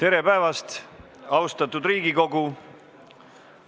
Tere päevast, austatud Riigikogu!